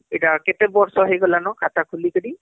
ଏଟା SBIରେ କେତେ ବର୍ଷ ହେଲା ନ ଖାତା ଖୁଲୀ କରି